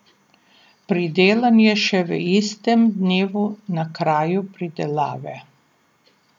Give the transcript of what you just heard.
Pridelan je še v istem dnevu na kraju pridelave.